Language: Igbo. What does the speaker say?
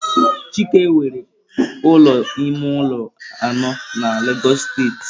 Chike nwere ụlọ ime ụlọ anọ na Lagos steeti.